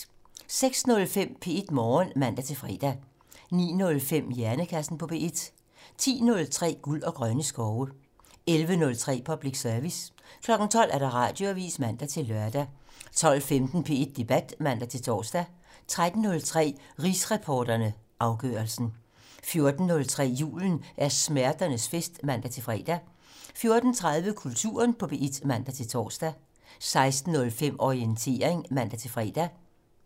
06:05: P1 Morgen (man-fre) 09:05: Hjernekassen på P1 10:03: Guld og grønne skove 11:03: Public Service 12:00: Radioavisen (man-lør) 12:15: P1 Debat (man-tor) 13:03: Rigsretsreporterne - Afgørelsen 14:03: Julen er smerternes fest (man-fre) 14:30: Kulturen på P1 (man-tor) 16:05: Orientering (man-fre)